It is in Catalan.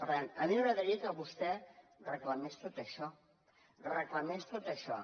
per tant a mi m’agradaria que vostè reclamés tot això reclamés tot això